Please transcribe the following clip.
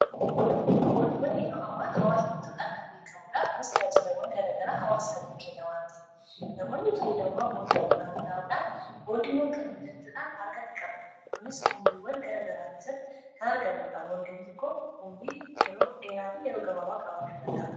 Boondiwwan yeroo ammaa kana faayidaa madaalamuu hin dandeenye fi bakka bu’iinsa hin qabne qaba. Jireenya guyyaa guyyaa keessatti ta’ee, karoora yeroo dheeraa milkeessuu keessatti gahee olaanaa taphata. Faayidaan isaa kallattii tokko qofaan osoo hin taane, karaalee garaa garaatiin ibsamuu danda'a.